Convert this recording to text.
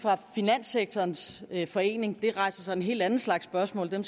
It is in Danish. finanssektorens forening det rejser så en helt anden slags spørgsmål men